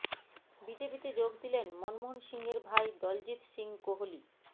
বিজেপিতে যোগ দিলেন মনমোহন সিংয়ের ভাই দলজিৎ সিং কোহলি